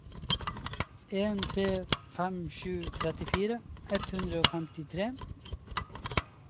en tre fem sju trettifire ett hundre og femtitre